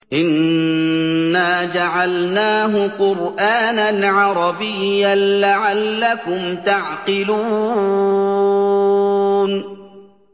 إِنَّا جَعَلْنَاهُ قُرْآنًا عَرَبِيًّا لَّعَلَّكُمْ تَعْقِلُونَ